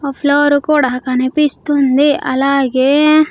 ఆ ఫ్లోర్ కూడా కనిపిస్తుంది అలాగే.